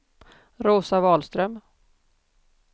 Rosa Wahlström